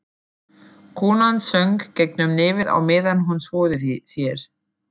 Konan söng gegnum nefið á meðan hún þvoði sér.